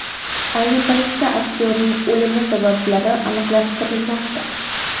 Ayni paytda aktyorning o‘limi sabablari aniqlashtirilmoqda.